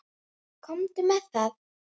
Komdu með það!